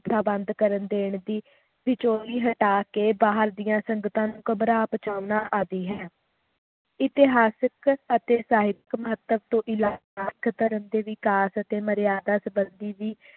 ਪ੍ਰਬੰਧ ਕਰਨ ਦੇਣ ਦੀ ਵਿਛੋਹੀ ਹਟਾ ਕੇ ਬਾਹਰ ਦੀਆਂ ਸੰਗਤਾਂ ਨੂੰ ਘਬਰਾ ਬਚਾਉਣਾ ਆਦਿ ਹੈ ਇਤਿਹਾਸਿਕ ਅਤੇ ਸਾਹਿਤਿਕ ਮਹੱਤਵ ਤੋਂ ਅਲਾਵਾ ਇਕ ਧਰਮ ਦੇ ਵਿਕਾਸ ਅਤੇ ਮਰਯਾਦਾ ਸੰਬੰਧੀ ਵੀ